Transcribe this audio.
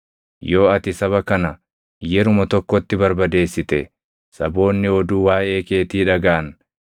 Yoo ati saba kana yeruma tokkotti barbadeessite, saboonni oduu waaʼee keetii dhagaʼan,